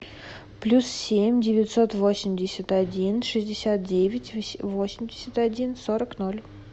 плюс семь девятьсот восемьдесят один шестьдесят девять восемьдесят один сорок ноль